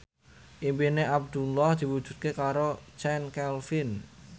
impine Abdullah diwujudke karo Chand Kelvin